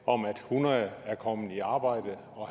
om at hundrede er kommet i arbejde og